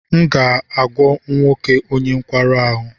M ga-agwọ nwoke onye nkwarụ ahụ.